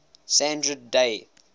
sandra day